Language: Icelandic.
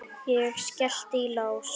Ég skellti í lás.